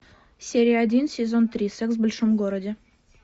серия один сезон три секс в большом городе